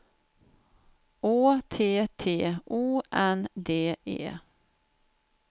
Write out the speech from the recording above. Å T T O N D E